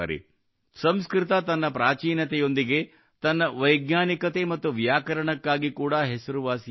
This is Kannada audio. ಸಂಸ್ಕೃತ ತನ್ನ ಪ್ರಾಚೀನತೆಯೊಂದಿಗೆ ತನ್ನ ವೈಜ್ಞಾನಿಕತೆ ಮತ್ತು ವ್ಯಾಕರಣಕ್ಕಾಗಿ ಕೂಡಾ ಹೆಸರುವಾಸಿಯಾಗಿದೆ